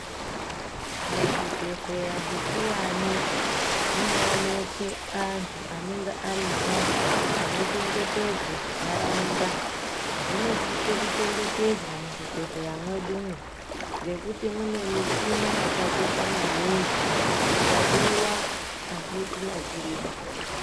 Muzvibhedhleya zvikuwani, munooneke antu anenge arimwo, anochengetedze ntaraunda. Munosise kuchengetedzwa muzvibhedhleya mwedumwo, ngekuti mwune michina yakakosha maningi. Ikabiwa azvitinakiriba.